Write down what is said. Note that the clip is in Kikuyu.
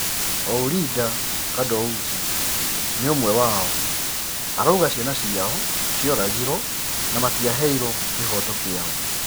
Ourida Kadoussi ni ũmwe wao, arauga ciana ciao cioragirwo na matiaheitwo kĩhoto kiao.